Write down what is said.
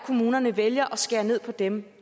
kommunerne vælger at skære ned på dem